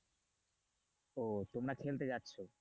ও তোমরা খেলতে যাচ্ছ।